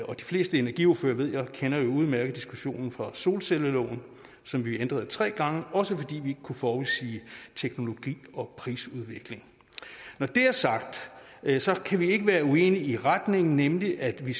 og de fleste energiordførere ved jeg kender jo udmærket diskussionen fra solcelleloven som vi ændrede tre gange også fordi vi ikke kunne forudsige teknologi og prisudvikling når det er sagt kan vi ikke være uenige i retningen nemlig at vi